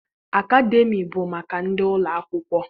Akademịa bụ maka ndị ụlọakwụkwọ.